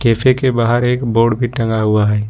के बाहर एक बोर्ड भी टंगा हुआ है।